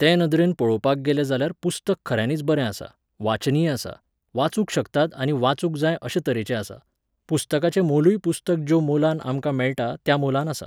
ते नदरेन पळोवपाक गेलें जाल्यार पुस्तक खऱ्यांनीच बरें आसा, वाचनीय आसा, वाचूंक शकतात आनी वाचूंक जाय अशें तरेचें आसा. पुस्तकाचें मोलूय पुस्तक ज्यो मोलान आमकां मेळटा त्या मोलान आसा.